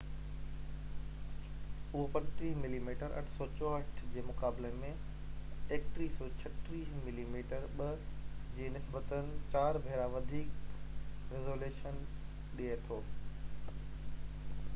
اهو 35 millimetre 864 جي مقابلي ۾ 3136 ملي ميٽر 2 جي نسبتاً 4 ڀيرا وڌيڪ ريزوليشن ڏي ٿو